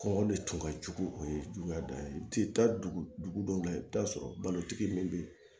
Kɔngɔ de tun ka jugu o ye juguya dɔ ye u tɛ taa dugu dugu dɔw la i bɛ taa sɔrɔ balotigi min bɛ yen